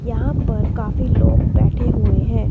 यहां पर काफी लोग बैठे हुए हैं।